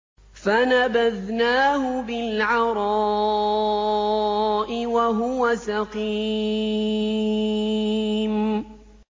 ۞ فَنَبَذْنَاهُ بِالْعَرَاءِ وَهُوَ سَقِيمٌ